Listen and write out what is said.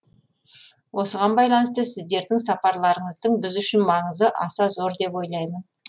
осыған байланысты сіздердің сапарларыңыздың біз үшін маңызы аса зор деп ойлаймын